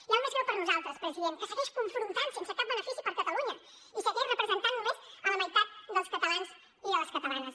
i el més greu per nosaltres president que segueix confrontant sense cap benefici per catalunya i segueix representant només la meitat dels catalans i de les catalanes